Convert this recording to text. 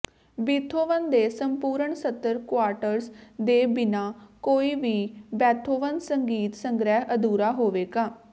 Beethoven ਦੇ ਸੰਪੂਰਨ ਸਤਰ ਕੁਆਟਰਸ ਦੇ ਬਿਨਾਂ ਕੋਈ ਵੀ ਬੇਥੋਵਨ ਸੰਗੀਤ ਸੰਗ੍ਰਿਹ ਅਧੂਰਾ ਹੋਵੇਗਾ